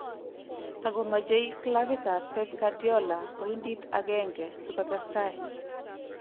Takomechei klabitab Pep Guardiola poindit agenge si kotestai